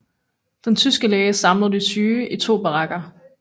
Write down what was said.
Den tyske læge samlede de syge i to barakker